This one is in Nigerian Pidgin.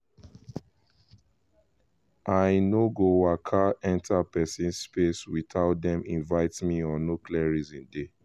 i no go waka enter person space without dem invite me or no clear reason dey.